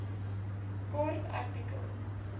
kort artikel